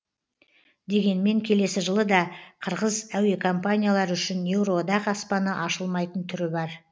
дегенмен келесі жылы да қырғыз әуекомпаниялары үшін еуроодақ аспаны ашылмайтын түрі бар